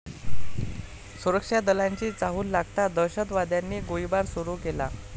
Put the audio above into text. सुरक्षा दलांची चाहूल लागताच दहशतवाद्यांनी गोळीबार सुरू केला.